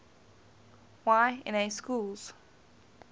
y na schools